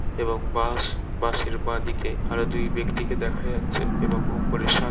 এবং bus bus এর বা দিকে আরও দুই ব্যাক্তিকে দেখা যাচ্ছে এবং ওপরে সাত ।